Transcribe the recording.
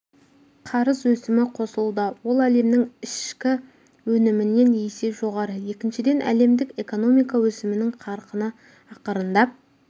қарыз өсімі қосылуда ол әлемнің ішкі өнімінен есе жоғары екіншіден әлемдік экономика өсімінің қарқыны ақырындап